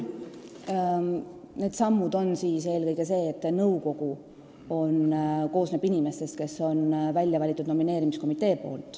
Mis puutub nendesse sammudesse, siis põhiline on see, et nüüd koosneb nõukogu inimestest, kelle on välja valinud nomineerimiskomitee.